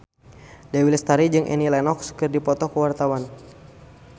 Dewi Lestari jeung Annie Lenox keur dipoto ku wartawan